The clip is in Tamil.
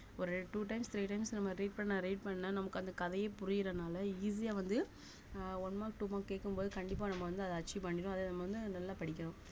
ஒரு two times three times நம்ம read பண்ண read பண்ணா நமக்கு அந்த கதையே புரியறனால easy ஆ வந்து ஆஹ் one mark two mark கேக்கும் போது கண்டிப்பா நம்ம வந்து அத achieve பண்ணிடுவோம் அத நம்ம வந்து நல்லா படிக்கணும்